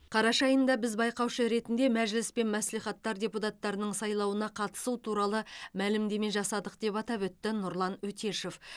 қараша айында біз байқаушы ретінде мәжіліс пен мәслихаттар депутаттарының сайлауына қатысу туралы мәлімдеме жасадық деп атап өтті нұрлан өтешев